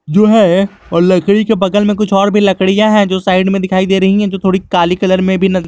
जो है और लकड़ी के बगल में कुछ और भी लकड़ियां है जो साइड में दिखाई दे रही हैं जो थोड़ी काली कलर में भी--